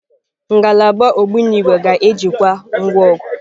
Ngalaba ogbunigwe ga-ejikwa ngwa ọgụ.